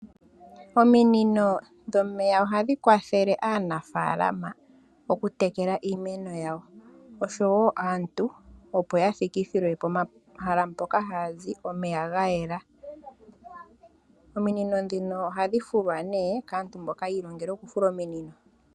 Ominino dhomeya ohadhikwathele aanafalama okutekela iimeno yawo, osho woo aantu opo yathikithilwe pomahala mpoka haazi omeya gayela. Ominino ndhino ohadhi fulwa kaantu mboka yiilongela okufuta ominino.